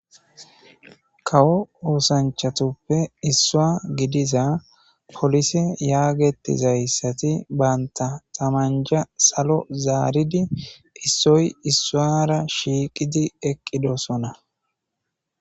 Kawo oosanchatoppe issua gidiza polise yaagetizayssati banta tamanja salo zaaridi issoy issuwara shiiqidi eqqidosona.